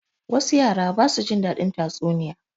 Wasu yara ba su jin daɗin tatsuniya.